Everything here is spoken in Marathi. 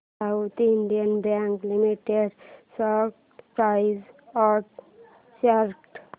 south Indian Bank Limited stock price and chart